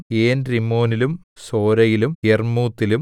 ഏൻരിമ്മോനിലും സോരയിലും യർമൂത്തിലും